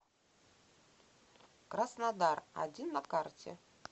краснодар один на карте